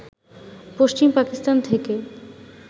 পশ্চিম পাকিস্তান থেকে